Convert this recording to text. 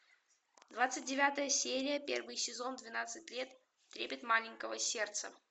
двадцать девятая серия первый сезон двенадцать лет трепет маленького сердца